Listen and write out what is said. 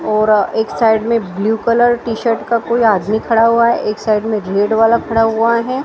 और एक साइड में ब्ल्यू कलर टी शर्ट का कोई आदमी खड़ा हुआ है एक साइड में रेड वाला खड़ा हुआ है।